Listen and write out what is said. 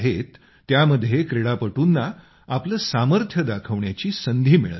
त्यामध्ये क्रीडापटूंना आपलं सामर्थ्य दाखवण्याच्या संधी मिळत आहेत